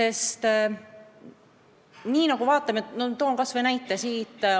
Toon kas või sellise näite.